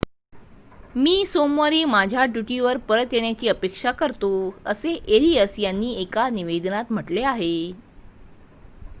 मी सोमवारी माझ्या ड्यूटीवर परत येण्याची अपेक्षा करतो असे एरियस यांनी एका निवेदनात म्हटले आहे